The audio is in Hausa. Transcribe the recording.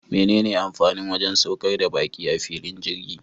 Mene amfanin wajan saukar baki a filin jirgi?